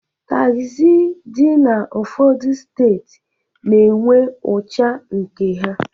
Taxị dị n'ụfọdụ steeti na-enwe ucha nke ha.